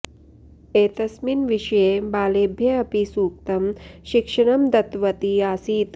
एतस्मिन् विषये बालेभ्य अपि सूक्तं शिक्षणं दत्तवती आसीत्